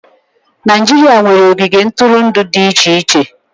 Naịjirịa nwere ogige ntụrụndụ dị iche iche.